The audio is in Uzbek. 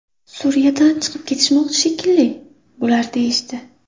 Suriyadan chiqib ketishmoqchi shekilli bular deyishdi.